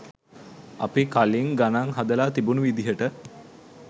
අපි කලිං ගණං හදලා තිබුණු විදියට